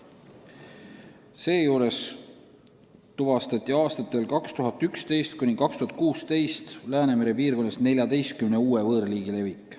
Seejuures tuvastati aastatel 2011–2016 Läänemere piirkonnas 14 uue võõrliigi levik.